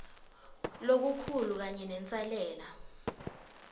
lokukhulu kanye nenselela